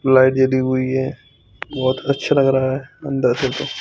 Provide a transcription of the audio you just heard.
Light जली हुई है बहोत अच्छा लग रहा है अंदर सेतो।